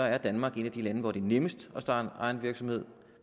er danmark et af de lande hvor det er nemmest at starte egen virksomhed